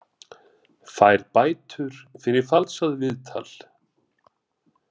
Fær bætur fyrir falsað viðtal